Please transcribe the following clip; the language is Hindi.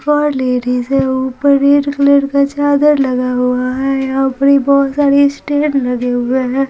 फॉर लेडीज है ऊपर रेड कलर चादर लगा हुआ है यहापर बोहोतसारे स्टैर्स लगे हुए है।